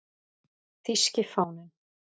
Þýski fáninn